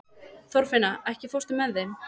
Þorfinna, ekki fórstu með þeim?